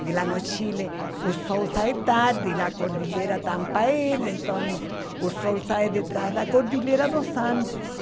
Porque lá no Chile o sol sai tarde, a cordilheira tampa ele, então o sol sai de trás da cordilheira dos Andes.